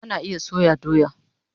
Ana iya soya doya